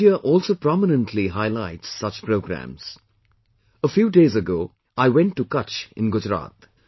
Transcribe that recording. Media also prominently highlights such programmes, A few days ago, I went to Kutch in Gujarat